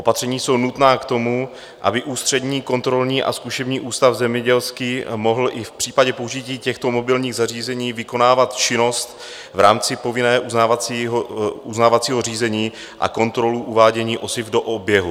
Opatření jsou nutná k tomu, aby Ústřední kontrolní a zkušební ústav zemědělský mohl i v případě použití těchto mobilních zařízení vykonávat činnost v rámci povinného uznávacího řízení a kontrolu uvádění osiv do oběhu.